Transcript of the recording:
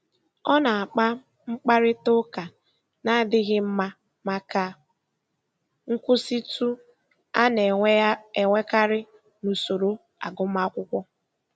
Ọ na-akpa mkparita ụka na-adịghị mma maka nkwụsịtụ a na-enwekarị na usoro agụmakwụkwọ.